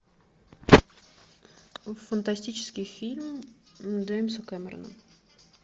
фантастический фильм джеймса кэмерона